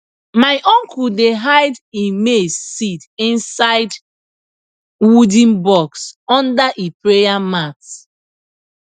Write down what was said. my uncle dey hide e maize seed inside wooden box under e prayer mat